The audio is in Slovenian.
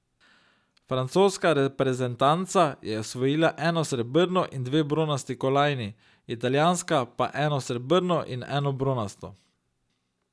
Francoska reprezentanca je osvojila eno srebrno in dve bronasti kolajni, italijanska pa eno srebrno in eno bronasto.